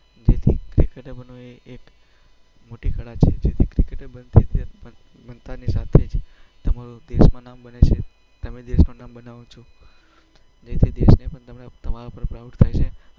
જેથી ક્રિકેટર બનવું એ એક મોટી કળા છે. ક્રિકેટર બનતાંની સાથે જ તમારું દેશમાં નામ બને છે. તમે દેશનું નામ બનાવો છો, જેથી દેશને પણ તમારા પર પ્રાઉડ થાય છે.